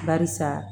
Barisa